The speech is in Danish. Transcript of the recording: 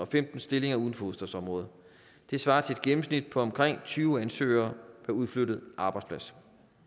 femten stillinger uden for hovedstadsområdet det svarer til et gennemsnit på omkring tyve ansøgere per udflyttet arbejdsplads